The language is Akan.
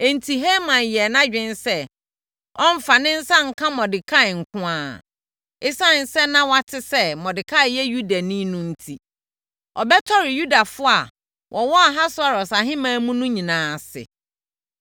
Enti, Haman yɛɛ nʼadwene sɛ, ɔremfa ne nsa nka Mordekai nko ara. Esiane sɛ na wate sɛ Mordekai yɛ Yudani no enti, ɔyɛɛ nʼadwene sɛ ɔbɛtɔre Yudafoɔ a wɔwɔ Ahasweros ahemman mu no nyinaa ase.